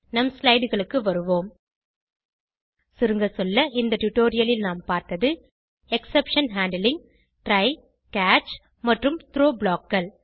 நம் slideகளுக்கு வருவோம் சுருங்கசொல்ல இந்த டுடோரியலில் நாம் பார்த்தது எக்ஸெப்ஷன் ஹேண்ட்லிங் ட்ரை கேட்ச் மற்றும் த்ரோ blockகள்